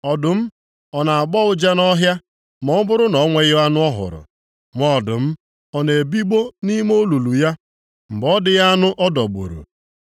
Ọdụm ọ na-agbọ ụja nʼọhịa ma ọ bụrụ na o nweghị anụ ọ hụrụ? Nwa ọdụm ọ na-ebigbọ nʼime olulu ya, mgbe ọ dịghị anụ ọ dọgburu?